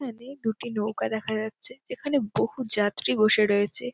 এখানে দুটি নৌকা দেখা যাচ্ছে। এখানে বহু যাত্রী বসে রয়েছে ।